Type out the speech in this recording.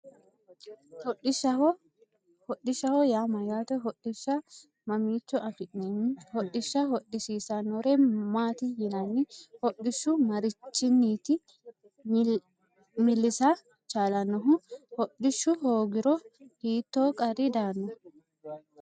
Hodhishsha hodhishshaho yaa mayyaate hodhishsha mamiicho afi'neemmo hodhishsha hodhissannore maati yinanni hodhishshu marichinniti millisa chaalannohu hodhishshu hoogiro hiittoo qarri daanno